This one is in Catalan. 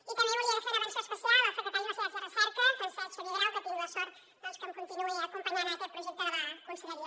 i també volia fer una menció especial al secretari d’universitats i recerca francesc xavier grau que tinc la sort que em continuï acompanyant en aquest projecte de la conselleria